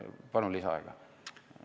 Palun lisaaega!